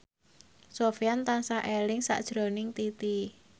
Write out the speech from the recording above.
Sofyan tansah eling sakjroning Titi